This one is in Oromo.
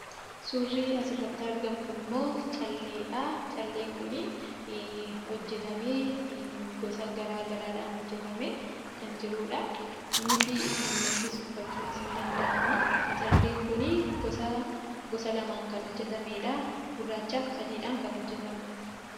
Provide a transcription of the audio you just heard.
Suurri asirratti argamu kunimmoo calleedha. Calleen kun hojjatamee gosa garaagaraadhaan hojjatamee kan jirudha. Innis mormattis uffachuun ni danda'ama. Calleen kun gosa lamaan kan hojjatameedha. Gurraachaa fi adiin kan hojjatameedha.